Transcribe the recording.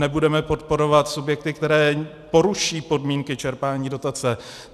Nebudeme podporovat subjekty, které poruší podmínky čerpání dotace.